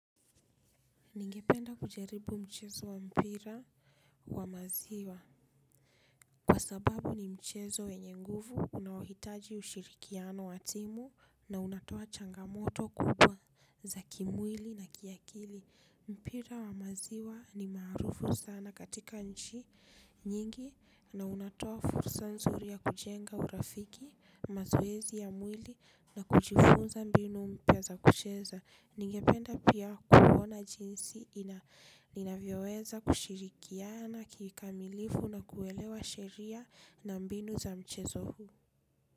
Ningependa kujaribu mchezo wa mpira wa maziwa. Kwa sababu ni mchezo wenye nguvu unaohitaji ushirikiano wa timu na unatoa changamoto kubwa za kimwili na kiakili. Mpira wa maziwa ni maarufu sana katika nchi nyingi na unatoa fursa nzuri ya kujenga urafiki, mazoezi ya mwili na kujifunza mbinu mpya za kucheza. Ningependa pia kuona jinsi inavyoweza kushirikiana kikamilifu na kuelewa sheria na mbinu za mchezo huu.